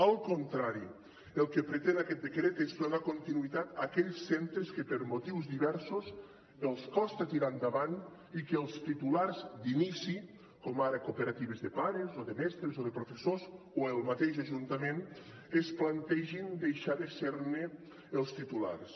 al contrari el que pretén aquest decret és donar continuïtat a aquells centres que per motius diversos els costa tirar endavant i que els titulars d’inici com ara cooperatives de pares o de mestres o de professors o el mateix ajuntament es plantegin deixar de ser ne els titulars